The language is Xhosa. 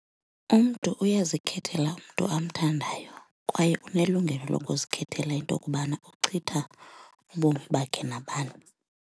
Umntu uyazikhethela umntu amthandayo kwaye unelungelo lokuzikhethela into kubana uchitha ubomi bakhe nabani.